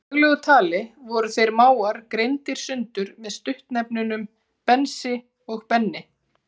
Í daglegu tali voru þeir mágar greindir sundur með stuttnefnunum Bensi og Benni.